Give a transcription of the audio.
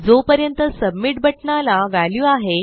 जोपर्यंत सबमिट बटणाला व्हॅल्यू आहे